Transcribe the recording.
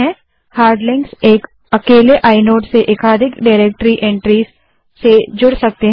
hard links एक अकेले inode से एकाधिक डाइरेक्टरी एन्ट्रीज़ से जुड़ सकते हैं